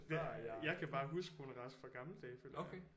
Jeg jeg kan bare huske Rune Rask fra gamle dage føler jeg